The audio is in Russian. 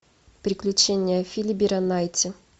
приключения филибера найти